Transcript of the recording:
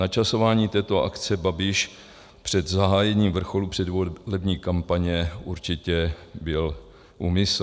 Načasování této akce Babiš před zahájením vrcholu předvolební kampaně určitě byl úmysl.